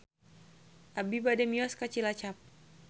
Abi bade mios ka Cilacap